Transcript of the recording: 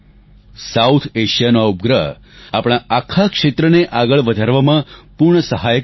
south એશિયાનો આ ઉપગ્રહ આપણા આખા ક્ષેત્રને આગળ વધારવામાં પૂર્ણ સહાયક બનશે